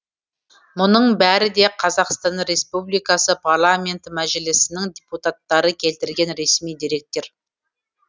мұның бәрі де қазақстан республикасы парламенті мәжілісінің депутаттары келтірген ресми деректер